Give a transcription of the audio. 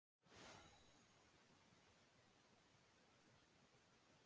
Þetta er frábær stökkpallur fyrir hann til þess sýna hvað hann getur.